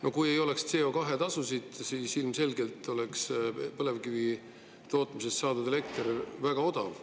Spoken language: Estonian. No kui ei oleks CO2-tasusid, siis ilmselgelt oleks põlevkivist saadud elekter väga odav.